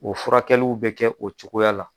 O furakɛliw bɛ kɛ o cogoya la.